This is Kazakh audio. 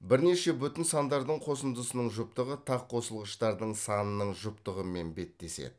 бірнеше бүтін сандардың қосындысының жұптығы тақ қосылғыштардың санының жұптығымен беттеседі